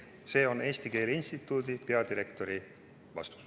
" See on Eesti Keele Instituudi peadirektori vastus.